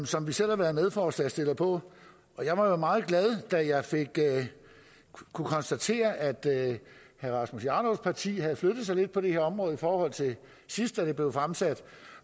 som vi selv har været medforslagsstillere på og jeg var meget glad da jeg kunne konstatere at herre rasmus jarlovs parti havde flyttet sig lidt på det her område i forhold til sidst det blev fremsat